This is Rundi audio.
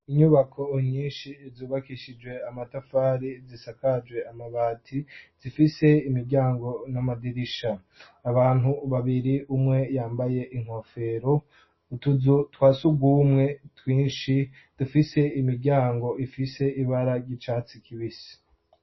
Inyubako nyinshi zubakishijwe amatafar,i zisakajwe amabati, zifise imiryango n'amadirisha, abantu babiri umwe yambaye inkofero, utuzu twa sugumwe twinshi dufise imiryango ifise ibara ry'icatsi kibisi.